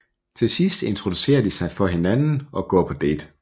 Til sidst introducerer de sig for hinanden og går på date